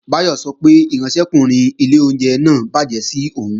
Báyọ̀ sọ pé ìránṣẹ́kùnrin ilé oúnjẹ náà bàjẹ́ sí òun